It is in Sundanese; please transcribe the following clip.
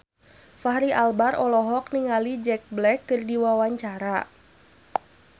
Fachri Albar olohok ningali Jack Black keur diwawancara